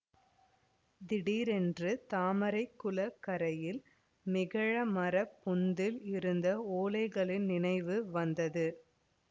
திடீரென்று தாமரை குளக்கரையில் மகிழமரப் பொந்தில் இருந்த ஓலைகளின் நினைவு வந்தது